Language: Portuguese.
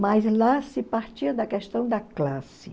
Mas lá se partia da questão da classe.